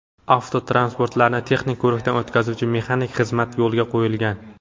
Avtotransportlarni texnik ko‘rikdan o‘tkazuvchi mexanik xizmati yo‘lga qo‘yilgan.